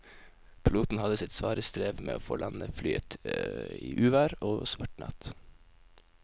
Piloten hadde sitt svare strev med å få landet flyet i uvær og svart natt.